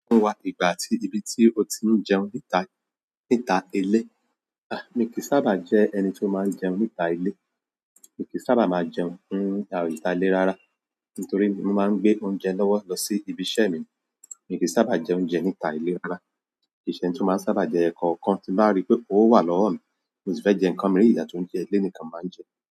Fún wa ìgbà àti ibi tí o ti ń jẹun níta, níta ilé. A! Mi kì í sábà jẹ́ ẹni tí ó máa ń jẹun níta ilé. Mi kì í sábà máa jẹun níta ilé rárá. Nítorí mo máa ń gbé oúnjẹ lọ́wọ́ lọ sí ibi iṣẹ́ mi. Mi kì í sábà jẹun oúnjẹ níta ilé rárá. Ìṣe tí mo máa ń sábà jẹ ẹkọ kan tí bá rí pé ówo wà lọ́wọ́ mi, mo ti fẹ́ jẹ nǹkan mí ìgbà tí oúnjẹ ilé nìkan máa ń jẹ.